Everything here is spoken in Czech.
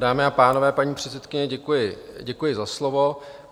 Dámy a pánové, paní předsedkyně, děkuji za slovo.